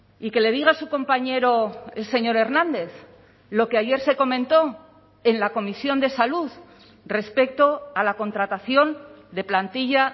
y que le diga su compañero el señor hernández lo que ayer se comentó en la comisión de salud respecto a la contratación de plantilla